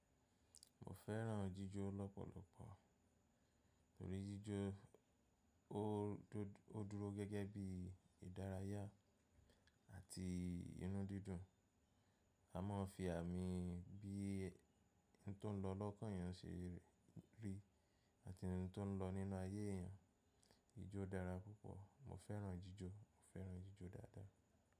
Mo fẹ́ràn jíjó lọ́pọ̀lọpọ̀. Nítorí jíjó ó dúró gẹ́gẹ́ bí ìdárayá àti inú dídùn. A máa ń fi àmì bí ń tó ń lọ lọ́kàn yẹn se rí àti inú tó ń lọ nínu ayé èyàn. Jíjó dára púpọ̀. Mo fẹ́ràn jíjó. Mo fẹ́ràn jíjó dáadáa.